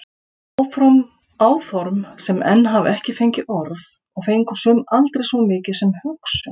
Áform sem enn hafa ekki fengið orð og fengu sum aldrei svo mikið sem hugsun.